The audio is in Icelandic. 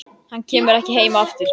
Hann kemur ekki heim aftur.